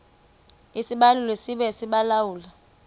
isibaluli sibe sisibaluli